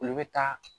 Olu bɛ taa